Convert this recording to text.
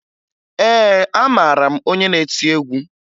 Ee, amara m onye na-eti egwu